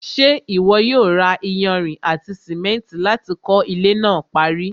ṣé ìwọ yóò ra iyanrìn àti sìmẹ́ntì láti kọ́ ilẹ́ náà parí?